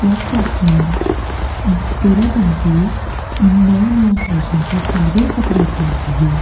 Club fox में डोरा बन के नया-नया फैशन के सारे कपड़ा उपलब्ध हे।